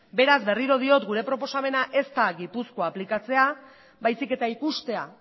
beraz berriro diot gure proposamena ez da gipuzkoa aplikatzea baizik eta ikustea